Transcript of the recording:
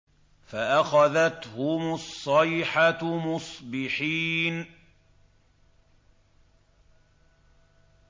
فَأَخَذَتْهُمُ الصَّيْحَةُ مُصْبِحِينَ